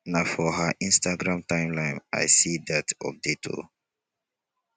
na for her instagram timeline i see dat update o.